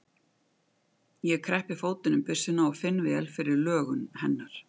Ég kreppi fótinn um byssuna og finn vel fyrir lögun hennar.